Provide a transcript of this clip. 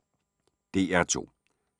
DR2